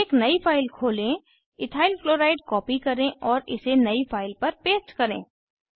एक नयी फाइल खोलें इथाइल क्लोराइड कॉपी करें और इसे नयी फाइल पर पेस्ट करें